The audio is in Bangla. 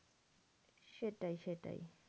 সেটাই সেটাই